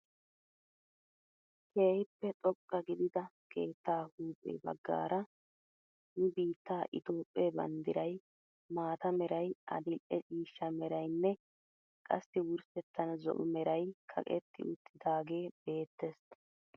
Kehippe xoqqa gidida keettaa huuphphe baggara nu biittaa itoophpphee banddiray mata meray adil'e ciishsha meraynne qassi wurssettan zo'o meray kaqetti uttidagee beettees.